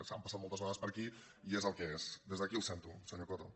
s’han passat moltes vegades per aquí que és des d’aquí el sento senyor coto